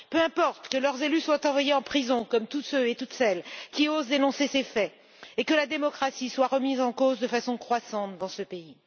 Peu importe que leurs élus soient envoyés en prison, comme tous ceux et toutes celles qui osent dénoncer ces faits et que la démocratie soit remise en cause de façon croissante dans ce pays.